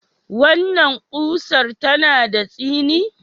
Wannan ƙusar tana da tsini?